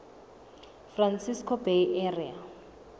francisco bay area